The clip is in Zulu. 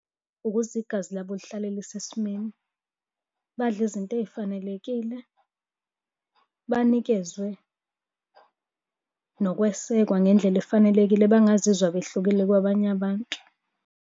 Ukuze igazi labo lihlale lise simeni, badle izinto ey'fanelekile. Banikezwe nokwesekwa ngendlela efanelekile bangazizwa behlukile kwabanye abantu.